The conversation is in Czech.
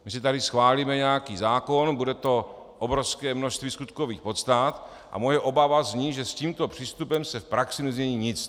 My si tady schválíme nějaký zákon, bude to obrovské množství skutkových podstat a moje obava zní, že s tímto přístupem se v praxi nezmění nic.